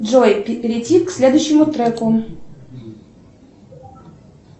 джой перейти к следующему треку